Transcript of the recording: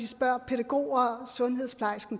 spørger pædagoger og sundhedsplejersker